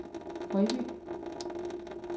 Højby